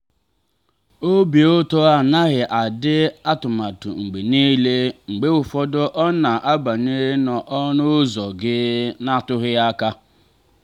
obi ụtọ anaghị adị atụmatụ mgbe niile; mgbe ụfọdụ ọ na-abanye n'ọnụ ụzọ gị na-akụghị aka